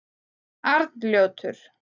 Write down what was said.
Arnljótur